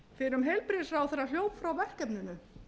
fyrrum heilbrigðisráðherra hljóp frá verkefninu